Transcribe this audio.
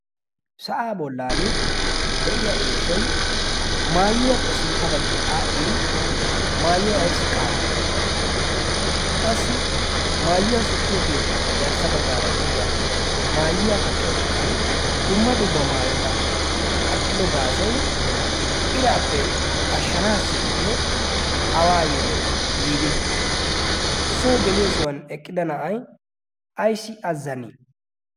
Sa'aa bollan de'iya eeshoy maayuwappe sintta baggi aadhdhi maayuwa ayissi qassi maayuwa sikkiyo keettaappe garssa baggaara de'iya mayuwa kaqqiyo iqan dumma dumma mayota kaqqido gaasoy iraappe ashshanaasseeyee waayyoo giidi? Soo geliyosan eqqida na'ay ayissi azzani?